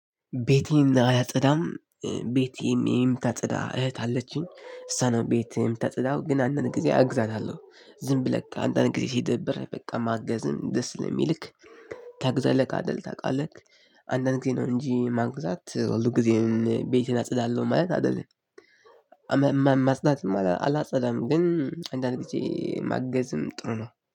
ቤቴን አያጸዳም። ቤቴን የምታጸዳ እህት አለችኝ። እሷ ናት ቤት የምታጸዳው ግን አንዳንድ ጊዜ አግዛታለሁ። ዝም ብለክ አንዳንድ ጊዜ ሲደብር በቃ ማገዝም ደስ ለሚልክ ታግዛለክ አይደል ታውቃለክ አንዳንድ ጊዜ ነው እንጂ ማግዛት ሁልጊዜም እኔ ቤቴን አጸዳለሁ ማለት አይደለም። ማጽዳትም አላጸዳም ግን አንዳንድ ጊዜ ማገዝም ጥሩ ነው።